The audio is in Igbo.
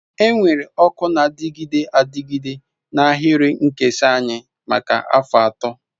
Enwere ọkụ na-adịgide adịgide na ahịrị nkesa anyị maka afọ 3.